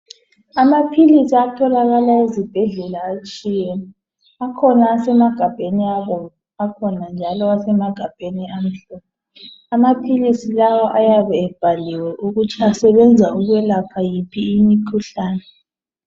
Amaphilisi atholakala ezibhedlela atshiyene. Kukhona asemagabheni abomvu, kukhona njalo asemagabheni amhlophe. Amaphilisi lawa ayabe ebhaliwe ukuthi asebenza ukwelapha yiphi imikhuhlane.